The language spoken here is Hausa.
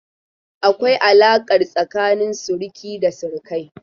Akwai alaƙa tsakanin suruki da surukai.